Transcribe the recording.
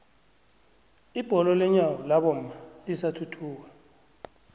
ibholo lenyawo labomma lisathuthuka